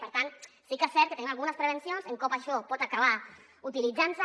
per tant sí que és cert que tenim algunes prevencions sobre com això pot acabar utilitzantse